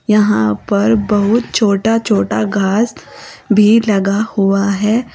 यहां पर बहुत छोटा छोटा घास भी लगा हुआ है।